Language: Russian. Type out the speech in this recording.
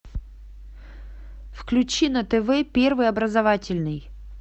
включи на тв первый образовательный